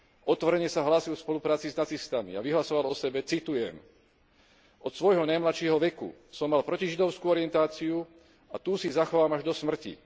Otvorene sa hlásil k spolupráci s nacistami a vyhlasoval o sebe, citujem Od svojho najmladšieho veku som mal protižidovskú orientáciu a tú si zachovám až do smrti.